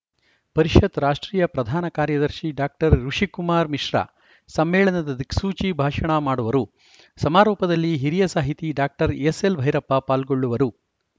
ಪರಿಷತ್‌ ರಾಷ್ಟ್ರೀಯ ಪ್ರಧಾನ ಕಾರ್ಯದರ್ಶಿ ಡಾಕ್ಟರ್ ಋುಷಿಕುಮಾರ ಮಿಶ್ರಾ ಸಮ್ಮೇಳನದ ದಿಕ್ಸೂಚಿ ಭಾಷಣ ಮಾಡುವರು ಸಮಾರೋಪದಲ್ಲಿ ಹಿರಿಯ ಸಾಹಿತಿ ಡಾಕ್ಟರ್ ಎಸ್‌ಎಲ್‌ಭೈರಪ್ಪ ಪಾಲ್ಗೊಳ್ಳುವರು